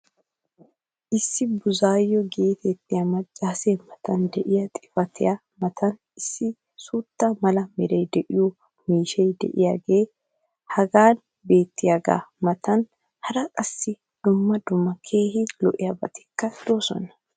Issi bizzu'aayo geetettiya maccaasee matan diya xifattiya matan issi suutta mala meray de'iyo miishshay diyaagee hagan beettiyaagaa matan hara qassi dumma dumma keehi lo'iyaabatikka de'oosona.